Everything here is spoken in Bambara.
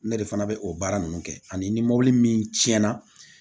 Ne de fana bɛ o baara ninnu kɛ ani mɔbili min tiɲɛna